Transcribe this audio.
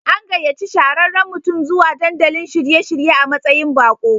An gayaci shahararran mutum zuwa dandalin shiye-shirye a matsayin bako.